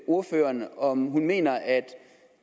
ordføreren om ordføreren mener at